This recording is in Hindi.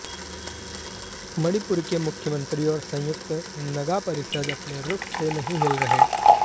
मणिपुर के मुख्यमंत्री और संयुक्त नगा परिषद अपने रुख से नहीं हिल रहे